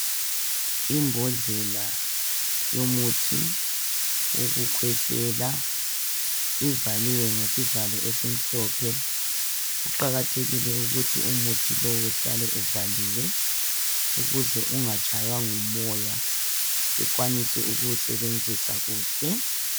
Imbhodlela yomuthi wokukhwehlela ivaliwe ngesivalo esimhlophe, kuqakathekile ukuthi umuthi lowu uhlale uvaliwe ukuze ungatshaywa ngumoya bekwanise ukuwusebenzisa kuhle